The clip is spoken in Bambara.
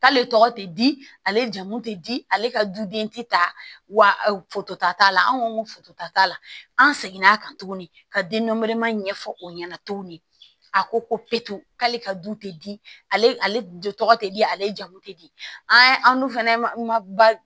K'ale tɔgɔ tɛ di ale jamu tɛ di ale ka duden tɛ ta foto ta t'a la anw ko ko foto ta t'a la an segin' a kan tuguni ka denmɛrɛ ɲɛfɔ o ɲɛna cogo min a ko ko k'ale ka du tɛ di ale tɔgɔ tɛ di ale jamu tɛ di an dun fana ma